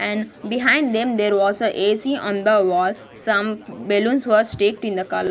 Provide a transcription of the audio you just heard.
And behind them there was a A_C on the wall some balloons were sticked in the col --